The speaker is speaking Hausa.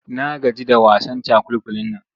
Na gaji da wasan cakulkulin nan.